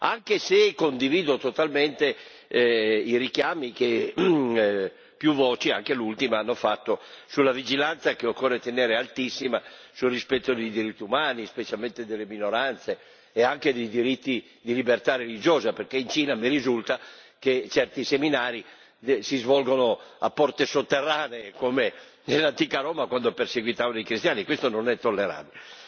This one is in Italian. anche se condivido totalmente i richiami che più voci, anche l'ultima, hanno fatto sulla vigilanza, che occorre tenere altissima, sul rispetto dei diritti umani, specialmente delle minoranze e anche dei diritti di libertà religiosa, perché in Cina mi risulta che certi seminari si svolgono a porte sotterranee, come nell'antica Roma quando perseguitavano i cristiani, e questo non è tollerabile.